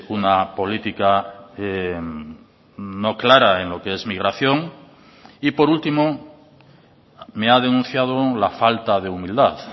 una política no clara en lo que es migración y por último me ha denunciado la falta de humildad